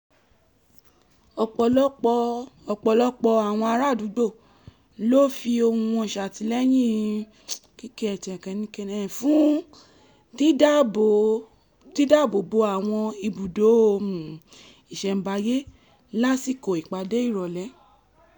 ọ̀pọ̀lọpọ̀ ọ̀pọ̀lọpọ̀ àwọn ará àdúgbò ló fi ohun wọn ṣàtìlẹyìn fún dídáàbo bo àwọn ibùdó um ìṣẹ̀mbáyé lásìkò ìpàdé ìrọ̀lẹ́